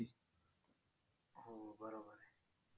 हो बरोबर आहे.